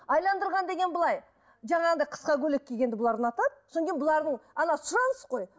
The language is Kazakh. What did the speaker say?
деген былай жаңағындай қысқа көйлек кигенді бұлар ұнатады содан кейін бұлардың сұраныс қой